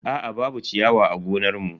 Aa babu ciyawa a gonar mu.